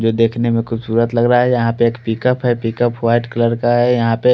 ये देखने में खुबसूरत लग रहा है यह पर पिक अप है पिक अप वाइट कलर का है--